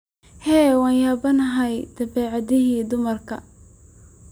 Hee! wanyabanhy dhabecadhi dumarka.